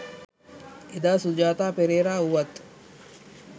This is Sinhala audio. එදා සුජාතා පෙරේරා වූවත්